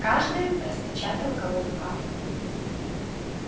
каждый распечатал колоду карт